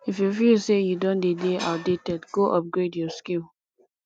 if you feel say you don de dey outdated go upgrade your skill